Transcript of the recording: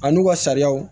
A n'u ka sariyaw